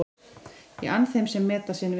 Ég ann þeim sem meta sinn vin.